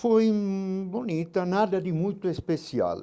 Foi bonita, nada de muito especial.